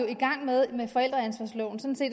i gang med med forældreansvarsloven